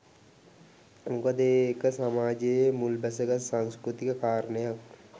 මොකද ඒක සමාජයේ මුල් බැසගත් සංස්කෘතික කාරණයක්